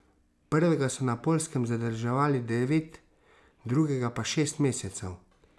Prvega so na Poljskem zadrževali devet, drugega pa šest mesecev.